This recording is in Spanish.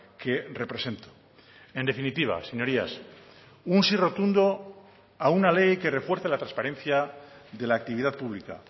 que represento en definitiva señorías un sí rotundo a una ley que refuerce la transparencia de la actividad pública